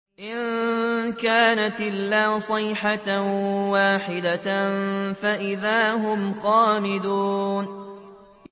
إِن كَانَتْ إِلَّا صَيْحَةً وَاحِدَةً فَإِذَا هُمْ خَامِدُونَ